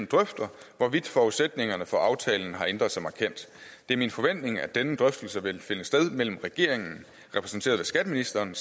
drøfter hvorvidt forudsætningerne for aftalen har ændret sig markant det er min forventning at denne drøftelse vil finde sted mellem regeringen repræsenteret ved skatteministeren